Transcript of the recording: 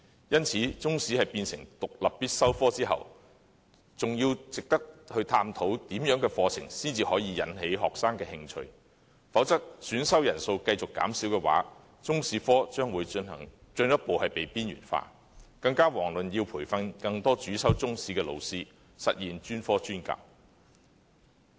因此，中史成為獨立必修科後，還得探討怎樣的課程才能引起學生的興趣，否則，選修人數會繼續減少，中史科將會進一步被邊緣化，遑論培訓更多主修中史的老師，實現專科專教。